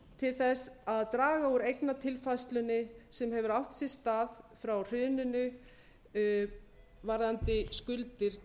til þess að draga úr eignatilfærslunni sem hefur átt sér stað frá hruninu varðandi skuldir